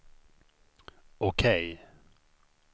OK